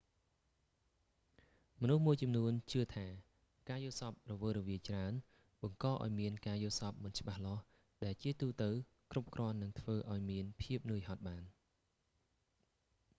មនុស្សមួយចំនួនជឿថា ការយល់សប្ដិរវើរវាយច្រើន បង្កឲ្យមានការយល់សប្តិមិនច្បាស់លាស់ ដែលជាទូទៅ គ្រប់គ្រាន់នឹងធ្វើឲ្យមានភាពនឿយហត់បាន